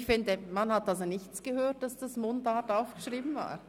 Man hat nicht gehört, dass es ursprünglich in Mundart verfasst war.